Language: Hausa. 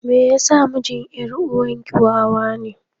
Me yasa mijin yar uwarki wawa ne?